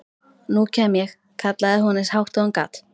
Nú kem ég, kallaði hún eins hátt og hún gat.